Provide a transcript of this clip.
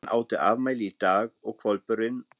Hann átti afmæli í dag og hvolpurinn